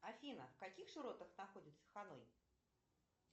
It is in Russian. афина в каких широтах находится ханой